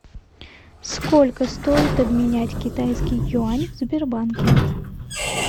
сколько стоит обменять китайский юань в сбербанке